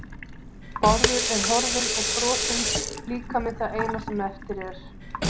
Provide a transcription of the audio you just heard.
Bárður er horfinn og frosinn líkami það eina sem eftir er.